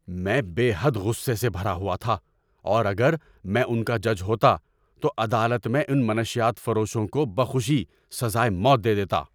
میں بے حد غصے سے بھرا ہوا تھا اور اگر میں ان کا جج ہوتا تو عدالت میں ان منشیات فروشوں کو بخوشی سزائے موت دے دیتا۔